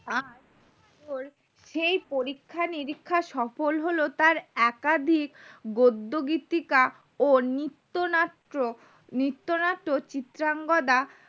আহ তোর সেই পরীক্ষা নিরীক্ষা সফল হলো তার একাধিক গদ্য গীতিকা ও নিত্য নাট্য নিত্য নাট্য চিত্রঙ্গদা